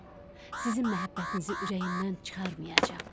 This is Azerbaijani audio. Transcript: Sizin məhəbbətinizi ürəyimdən çıxarmayacam.